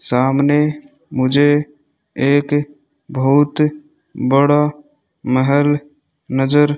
सामने मुझे एक बहुत बड़ा महल नजर --